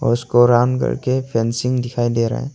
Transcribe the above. उसको राउंड करके फेन्सिंग दिखाई दे रहा है।